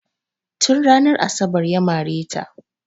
Tun ranar asabar ya mare ta.